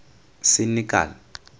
senekal